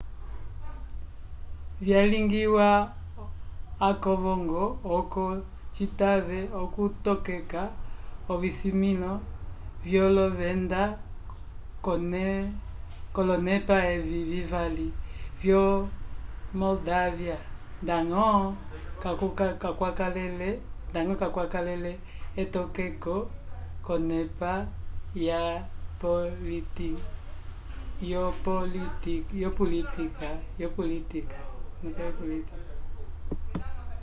vyalingiwa akovongo oco citave okutokeka ovisimĩlo vyolovenda k'olonepa evi vivali vyo moldávia ndañgo kakwakalele etokeko k'onepa yopolitika